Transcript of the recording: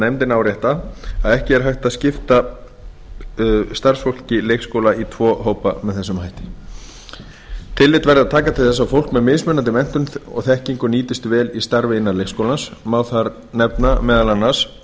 nefndin árétta að ekki er hægt að skipta starfsfólki leikskóla í tvo hópa með þessum hætti tillögurnar taka til þess að fólk með mismunandi menntun og þekkingu nýtist vel í starfi innan leikskólans má þar nefna meðal annars